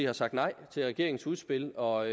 har sagt nej til regeringens udspil og